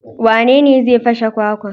Wanene zai fashe kwakwan?